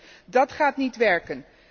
Voorzitter, dat gaat niet werken!